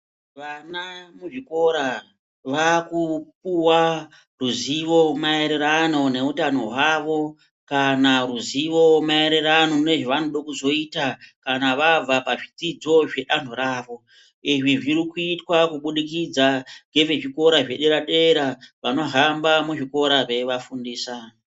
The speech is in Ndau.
Vana muzvikoro vakupuwa zivo maererano nehutano hwavo kana ruzivo maererano nezvevanoda kuzoita kana vabva pazvidzidzo zvedanho ravo. Izvi zvirikuitwa kubudikidza ngezvikora zvedera-dera vanohamba muzvikora meivafundisa.